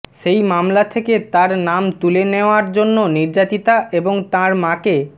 সেই মামলা থেকে তার নাম তুলে নেওয়ার জন্য নির্যাতিতা এবং তাঁর মাকে